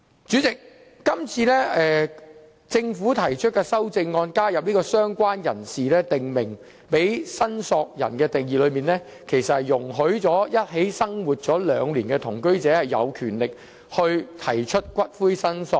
主席，今次政府提出修正案，加入"相關人士"為"訂明申索人"的類別，定義容許已一起生活兩年的同居者有權提出申索骨灰。